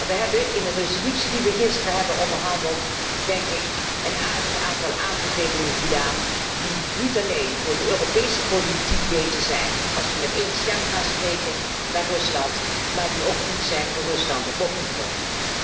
We hebben in een resolutie die we gisteren zijn overeengekomen, een aardig aantal aanbevelingen gedaan die niet alleen voor de Europese politiek beter zijn als we met één stem willen gaan spreken naar Rusland maar die ook goed zijn voor Rusland om op te volgen.